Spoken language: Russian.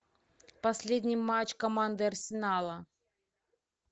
последний матч команды арсенала